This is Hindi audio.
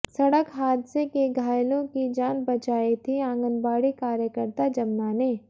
सड़क हादसे के घायलों की जान बचाई थी आंगनबाड़ी कार्यकर्ता जमना ने